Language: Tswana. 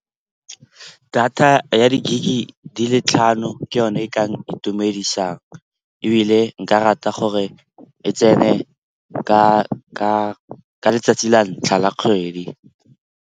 Data ya di-gig-e di le tlhano ke yone e ka itumedisang ebile nka rata gore e tsene ka letsatsi la ntlha la kgwedi.